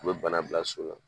U bɛ bana bila so la.